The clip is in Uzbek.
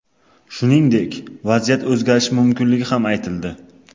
Shuningdek, vaziyat o‘zgarishi mumkinligi ham aytildi.